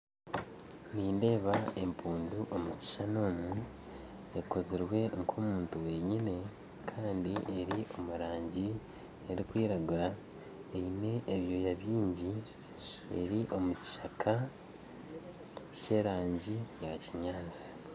Nindeeba empundu omukishushani omu ekozirwe nk'omuntu wenyini kandi eri omurangi erikwiragura eine ebyoya byingi eri omukishaka kyerangi yakinyansi